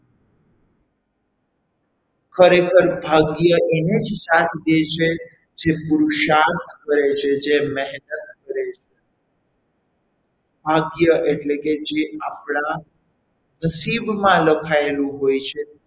ખરેખર ભાગ્ય એને જ સાથ દે છે જે પુરુષાર્થ કરે છે જે મહેનત કરે છે ભાગ્ય એટલે કે જે આપણા નસીબમાં લખાયેલું હોય છે.